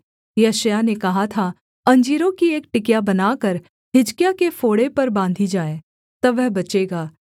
यशायाह ने कहा था अंजीरों की एक टिकिया बनाकर हिजकिय्याह के फोड़े पर बाँधी जाए तब वह बचेगा